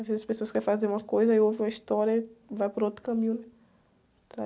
Às vezes as pessoas querem fazer uma coisa e ouvem uma história e vai por outro caminho, né?